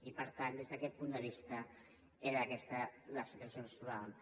i per tant des d’aquest punt de vista era aquesta la situació en què ens trobàvem